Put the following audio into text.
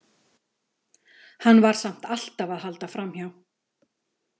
Hann var samt alltaf að halda framhjá.